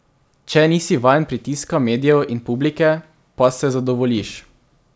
Če nisi vajen pritiska medijev in publike, pa se zadovoljiš.